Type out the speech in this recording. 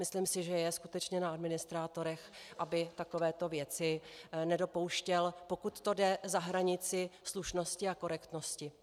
Myslím si, že je skutečně na administrátorech, aby takovéto věci nedopouštěli, pokud to jde, za hranici slušnosti a korektnosti.